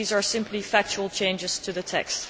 These are simply factual changes to the text.